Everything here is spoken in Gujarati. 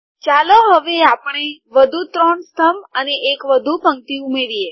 ચાલો હવે આપણે વધુ ત્રણ સ્તંભ અને એક વધુ પંક્તિ ઉમેરીએ